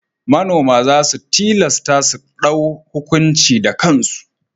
Manoma za su tilastu su ɗau hukunci da kansu.